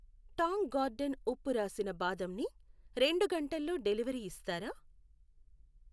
Tang Garden ఉప్పు రాసిన బాదం ని రెండు గంటల్లో డెలివరీ ఇస్తారా?